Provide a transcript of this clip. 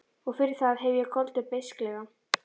Og fyrir það hef ég goldið beisklega.